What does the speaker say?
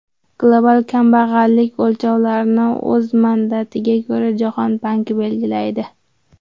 Global kambag‘allik o‘lchovlarini o‘z mandatiga ko‘ra, Jahon banki belgilaydi.